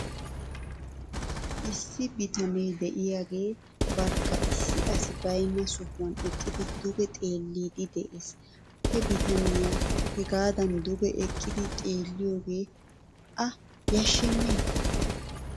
Issi bitanee de'iyaagee barkka issi asi baynna sohuwan eqqidi duge xeelliiddi de'es. He bitaneyaa hegaadan duge eqqidi xeelliyoogee a yashshenee?